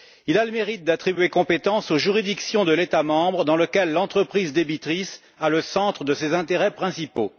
Il a le mérite d'attribuer compétence aux juridictions de l'État membre dans lequel l'entreprise débitrice a le centre de ses intérêts principaux.